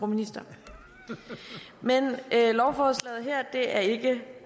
ministeren men lovforslaget her er ikke